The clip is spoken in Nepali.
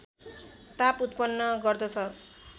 ताप उत्पन्न गर्दछ